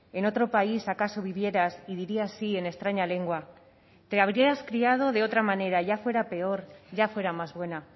en otro país acaso vivieras y dirías sí en extraña lengua te habrías criado de otra manera ya fuera peor ya fuera más buena